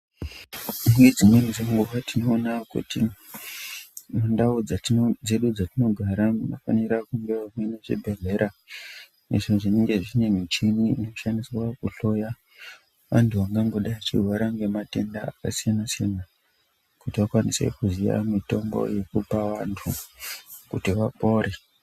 Nedzimweni dzenguva tinona kuti mundau dzedu dzatinogara munofanira kunge munezvibhedhlera. Izvo zvinenge zvine michini inoshandiswa kuhloya antu angangodai achirwara ngematenda akasiyana-siyana. Kuti akwanise kuziya mitombo yekupa antu kuti vapore.